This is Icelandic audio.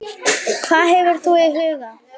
Hvað hefur þú í huga?